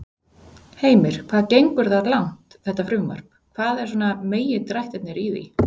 Heimir: Hvað gengur það langt, þetta frumvarp, hvað er svona megindrættirnir í því?